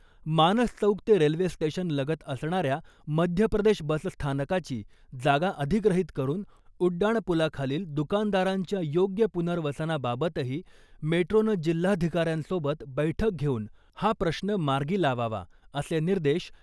मानस चौक ते रेल्वे स्टेशनलगत असणाऱ्या मध्यप्रदेश बसस्थानकाची जागा अधिग्रहीत करून उड्डाणपूलाखालील दुकानदारांच्या योग्य पुनर्वसनाबाबतही मेट्रोनं जिल्हाधिकाऱ्यांसोबत बैठक घेऊन हा प्रश्न मार्गी लावावा, असे निर्देश